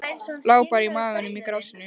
Lá bara á maganum í grasinu.